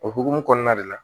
O hokumu kɔnɔna de la